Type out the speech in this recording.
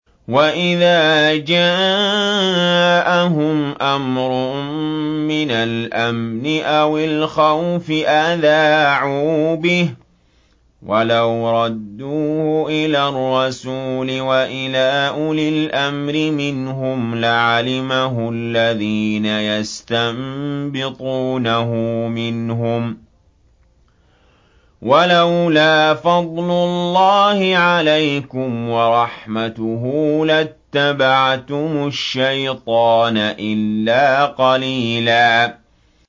وَإِذَا جَاءَهُمْ أَمْرٌ مِّنَ الْأَمْنِ أَوِ الْخَوْفِ أَذَاعُوا بِهِ ۖ وَلَوْ رَدُّوهُ إِلَى الرَّسُولِ وَإِلَىٰ أُولِي الْأَمْرِ مِنْهُمْ لَعَلِمَهُ الَّذِينَ يَسْتَنبِطُونَهُ مِنْهُمْ ۗ وَلَوْلَا فَضْلُ اللَّهِ عَلَيْكُمْ وَرَحْمَتُهُ لَاتَّبَعْتُمُ الشَّيْطَانَ إِلَّا قَلِيلًا